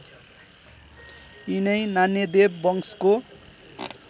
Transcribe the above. यिनै नान्यदेव वंशको